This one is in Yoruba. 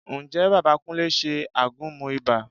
Ǹjẹ́ bàbá Kúnlé ṣe àgúnmu ibà?